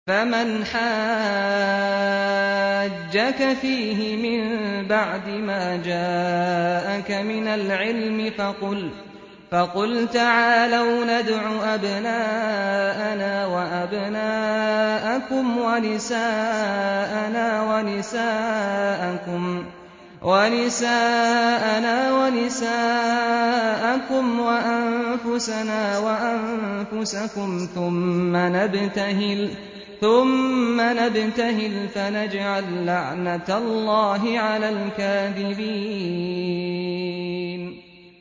فَمَنْ حَاجَّكَ فِيهِ مِن بَعْدِ مَا جَاءَكَ مِنَ الْعِلْمِ فَقُلْ تَعَالَوْا نَدْعُ أَبْنَاءَنَا وَأَبْنَاءَكُمْ وَنِسَاءَنَا وَنِسَاءَكُمْ وَأَنفُسَنَا وَأَنفُسَكُمْ ثُمَّ نَبْتَهِلْ فَنَجْعَل لَّعْنَتَ اللَّهِ عَلَى الْكَاذِبِينَ